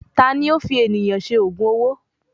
Tani ó fi ènìyàn ṣe ògùn owó?